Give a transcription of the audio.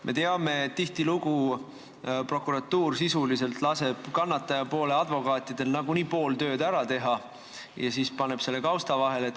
Me teame, et tihtilugu prokuratuur sisuliselt laseb kannatajapoole advokaatidel nagunii pool tööd ära teha ja siis paneb selle kõik kausta vahele.